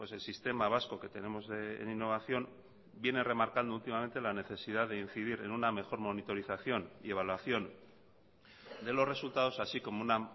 el sistema vasco que tenemos en innovación viene remarcando últimamente la necesidad de incidir en una mejor monitorización y evaluación de los resultados así como una